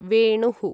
वेणुः